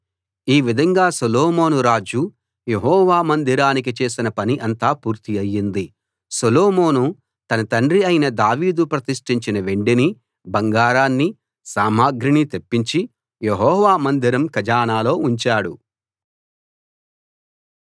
ఈ విధంగా సొలొమోను రాజు యెహోవా మందిరానికి చేసిన పని అంతా పూర్తి అయ్యింది సొలొమోను తన తండ్రి అయిన దావీదు ప్రతిష్ఠించిన వెండిని బంగారాన్ని సామగ్రిని తెప్పించి యెహోవా మందిరం ఖజానాలో ఉంచాడు